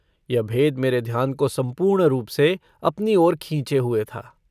यह भेद मेरे ध्यान को सम्पूर्ण रूप से अपनी ओर खींचे हुए था।